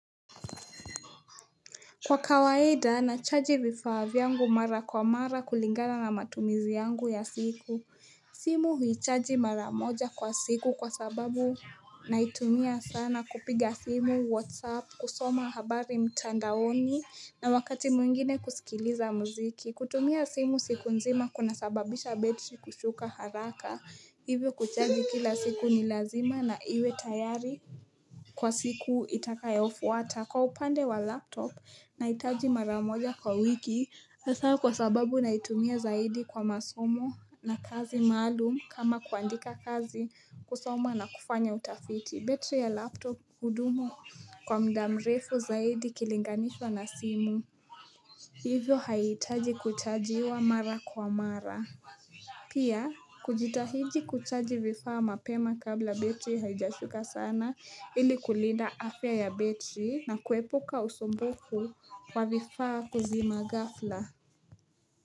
Kwa kawaida na chaji vifaa vyangu mara kwa mara kulingana na matumizi yangu ya siku simu huichaji mara moja kwa siku kwa sababu naitumia sana kupiga simu whatsapp kusoma habari mtandaoni na wakati mwingine kusikiliza muziki kutumia simu siku nzima kuna sababisha betri kushuka haraka hivyo kuchaji kila siku ni lazima na iwe tayari Kwa siku itakayofuata kwa upande wa laptop na itaji maramoja kwa wiki hasa kwa sababu naitumia zaidi kwa masomo na kazi maalum kama kuandika kazi kusoma na kufanya utafiti betri ya laptop hudumu kwa mda mrefu zaidi ikilinganishwa na simu hivyo haitaji kuchajiwa mara kwa mara pia kujitahiji kuchaji vifaa mapema kabla betri haijashuka sana ili kulinda afya ya betri na kuepuka usumbufu kwa vifaa kuzima gafla.